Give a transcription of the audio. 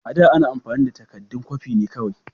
A da, ana amfani da takaddun kwafi ne kawai.